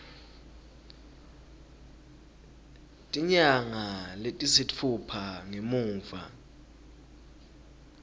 tinyanga letisitfupha ngemuva